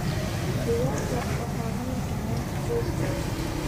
Digaagga waxaa hayn kara qoys kasta.